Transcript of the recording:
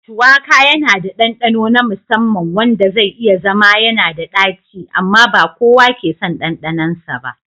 Shuwaka yana da ɗanɗano na musamman wanda zai iya zama yanada daci amma ba kowa ke son ɗanɗanonsa ba.